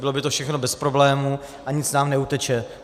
Bylo by to všechno bez problémů a nic nám neuteče.